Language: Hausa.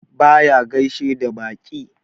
Baya gaishe da baƙi.